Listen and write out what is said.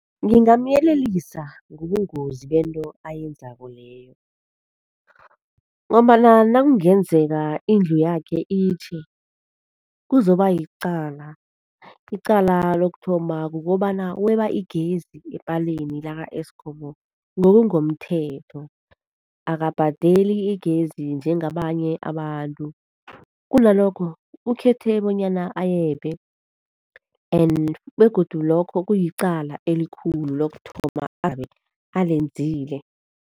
Ngingamyelelisa ngobungozi bento ayenzako leyo ngombana nakungenzeka indlu yakhe itjhe, kuzoba yicala. Icala lokuthoma, kukobana weba igezi epaleni laka e-Eskom ngokungomthetho, akabhadeli igezi njengabanye abantu kunalokho, ukhethe bonyana ayebe and begodu lokho kuyicala elikhulu lokuthoma abe alenzile.